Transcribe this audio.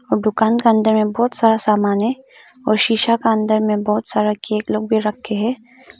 दुकान के अंदर में बहोत सारा सामान है और सिसा का अंदर में बहोत सारा केक लोग भी रखे हैं।